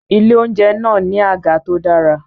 Ilé-oúnjẹ náà ní àga tó dára